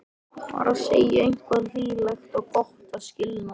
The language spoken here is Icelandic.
Bara segja eitthvað hlýlegt og gott að skilnaði.